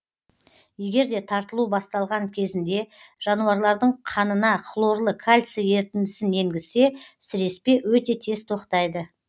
егерде тартылу басталған кезінде жануарлардың қанына хлорлы кальций ерітіндісін енгізсе сіреспе өте тез тоқтайды